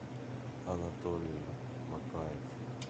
анатолий макаев